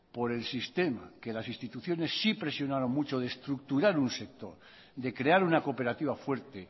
por el sistema que las instituciones sí presionaron mucho de estructurar un sector de crear una cooperativa fuerte